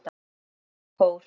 segja þau í kór.